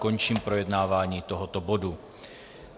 Končím projednávání tohoto bodu.